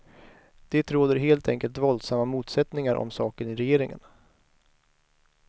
Det råder helt enkelt våldsamma motsättningar om saken i regeringen.